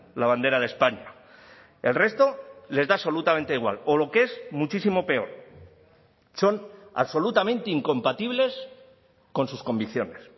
la bandera de españa el resto les da absolutamente igual o lo que es muchísimo peor son absolutamente incompatibles con sus convicciones